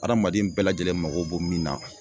Adamaden bɛɛ lajɛlen mago b'o min na